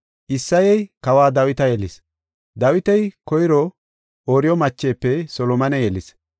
Isseyey kawa Dawita yelis; Dawiti koyro Ooriyo machefe Solomone yelis;